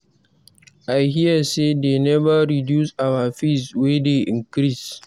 I hear say dey never reduce our fees wey dey increase.